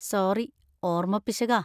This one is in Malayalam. സോറി, ഓർമപ്പിശകാ.